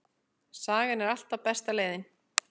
Sagan er alltaf besta leiðin.